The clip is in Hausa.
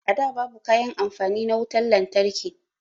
A da babu kayan amfani na wutan lantarki